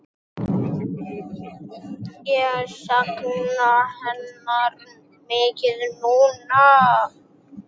Ég sakna hennar mikið núna.